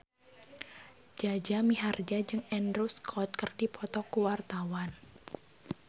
Jaja Mihardja jeung Andrew Scott keur dipoto ku wartawan